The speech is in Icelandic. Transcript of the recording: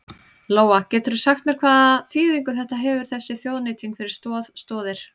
Lóa: Geturðu sagt mér hvaða þýðingu þetta hefur þessi þjóðnýting fyrir Stoð Stoðir?